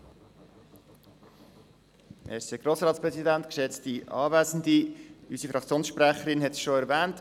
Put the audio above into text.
Unsere Fraktionssprecherin hat es schon erwähnt: